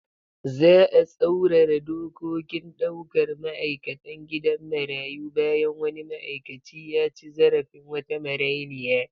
Za'a tsaurara dokokin daukar ma'aikatan gidan marayu bayan wani ma'aikaci ya ci zarafin wata marainiya